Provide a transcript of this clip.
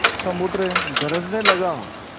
समुद्र गरजने लगा